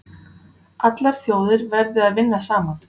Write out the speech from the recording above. Allar þjóðir verði að vinna saman